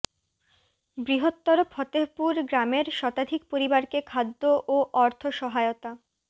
বৃহত্তর ফতেহপুর গ্রামের শতাধিক পরিবারকে খাদ্য ও অর্থ সহায়তা